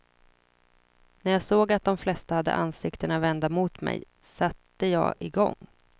När jag såg att de flesta hade ansiktena vända mot mig, satte jag i gång.